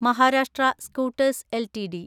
Maharashtra scooters LTD